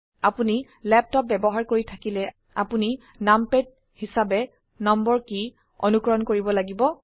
আপোনি ল্যাপটপ ব্যবহাৰ কৰি থাকিলে আপোনি নামপ্যাড হিসাবে নম্বৰ কী অনুকৰণ কৰিব লাগিব